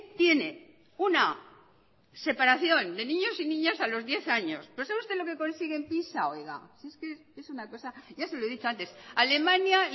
tiene una separación de niños y niñas a los diez años pero sabe usted lo que consigue en pisa oiga si es que es una cosa ya se lo he dicho antes alemania